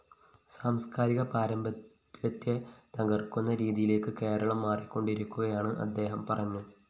സാംസ്‌കാരിക പാരമ്പര്യത്തെ തകര്‍ക്കുന്ന രീതിയിലേക്ക് കേരളം മാറിക്കൊണ്ടിരിക്കുകയാണെന്ന് അദ്ദേഹം പറഞ്ഞു